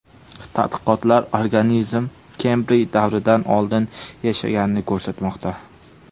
Tadqiqotlar organizm Kembriy davridan oldin yashaganini ko‘rsatmoqda.